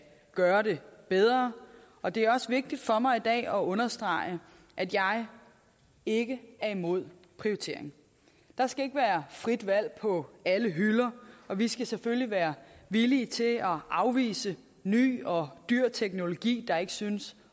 gøre det bedre og det er også vigtigt for mig i dag at understrege at jeg ikke er imod prioritering der skal ikke være frit valg på alle hylder og vi skal selvfølgelig være villige til at afvise ny og dyr teknologi der ikke synes